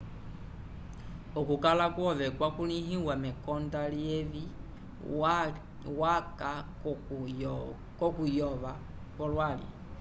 okukala kwove kwakulĩhiwa mekonda lyevi waca k'okuyova kwolwali